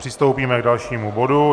Přistoupíme k dalšímu bodu.